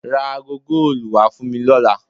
Ra aago góòlù wá fún mi lọ́la.